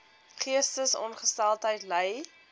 geestesongesteldheid ly